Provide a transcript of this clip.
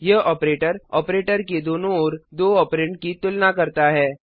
यह operator operator के दोनों ओर दो ऑपरेंड की तुलना करता है